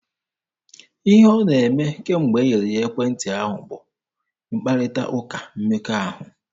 Ihe ọ na-eme kemgbe e nyere ya ekwentị ahụ bụ mkparịta ụka mmekọahụ.